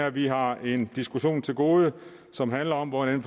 at vi har en diskussion til gode som handler om hvordan